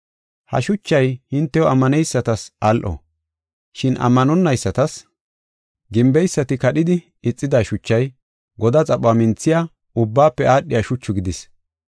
Ha shuchay hintew ammaneysatas al7o, shin ammanonaysatas, “Gimbeysati kadhidi ixida shuchay godaa xaphuwa minthiya, ubbaafe aadhiya shuchu gidis.”